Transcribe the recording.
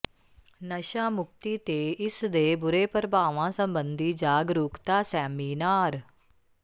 ਨਸ਼ਾ ਮੁਕਤੀ ਤੇ ਇਸ ਦੇ ਬੁਰੇ ਪ੍ਰਭਾਵਾਂ ਸਬੰਧੀ ਜਾਗਰੂਕਤਾ ਸੈਮੀਨਾਰ